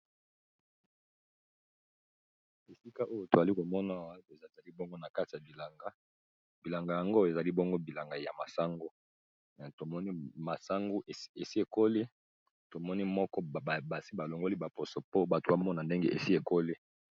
Esika oyo toali komona awa ezali bongo na kati ya bilanga, bilanga yango ezali bongo bilanga ya masangu, tomoni masangu esi ekoli tomoni moko basi balongoli ba poso po bato bamona ndenge esi ekoli.